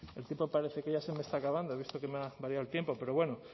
el tiempo parece que ya se me está acabando he visto que me ha variado el tiempo pero bueno